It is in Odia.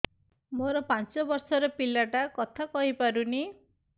ମୋର ପାଞ୍ଚ ଵର୍ଷ ର ପିଲା ଟା କଥା କହି ପାରୁନି